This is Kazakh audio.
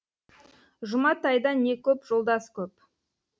жұматайда не көп жолдас көп